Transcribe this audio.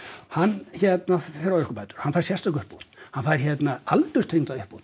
hann hérna fer á örorkubætur hann fær sérstaka uppbót hann fær aldurstengda uppbót